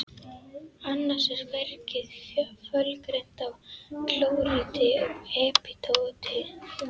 Annars er bergið fölgrænt af klóríti og epídóti.